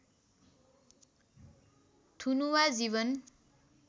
थुनुवा जीवन